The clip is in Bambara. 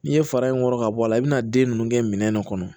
N'i ye fara in kɔrɔ ka bɔ a la i bɛna den ninnu kɛ minɛn de kɔnɔ